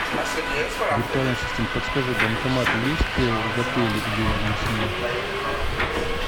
виртуальный ассистент подскажи банкоматы есть в отеле или рядом с ним